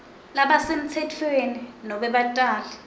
labasemtsetfweni nobe batali